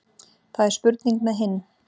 Það er spurning með hinn.